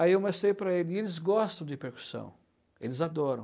Aí eu mostrei para eles, e eles gostam de percussão, eles adoram.